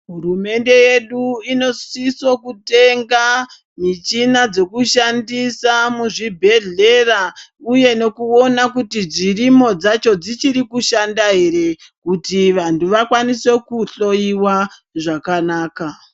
Hurumende yedu inosiso kutenga michina dzekushandisa muzvibhedhlera uye nekuona kuti dzirimo dzacho dzichiri kushanda here kuti vanhu vakwanise kuhloiwa zvakanaka.